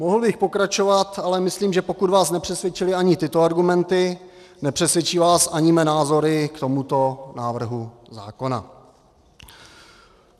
Mohl bych pokračovat, ale myslím, že pokud vás nepřesvědčily ani tyto argumenty, nepřesvědčí vás ani mé názory k tomuto návrhu zákona.